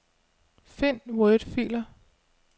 Find wordfiler.